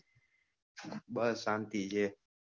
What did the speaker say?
બસ શાંતિ છે.